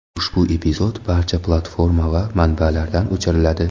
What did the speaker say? Ushbu epizod barcha platforma va manbalardan o‘chiriladi.